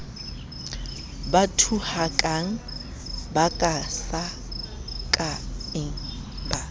ba thuhakang ba kakasakang ba